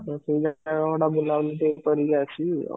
ତ ସେଇ ଜାଗା ଗୁଡା ଟିକେ ବୁଲା ବୁଲି କରିକି ଆସିବି ଆଉ